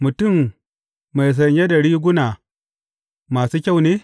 Mutum mai sanye da riguna masu kyau ne?